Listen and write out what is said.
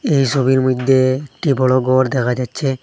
এই সবির মইধ্যে একটি বড় গর দেখা যাচ্ছে।